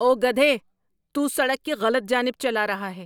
او گدھے۔ تو سڑک کی غلط جانب چلا رہا ہے۔